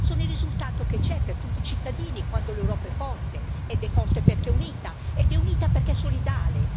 Sono il risultato per tutti i cittadini quando l'Europa è forte, ed è forte perché è unita ed è unita perché è solidale.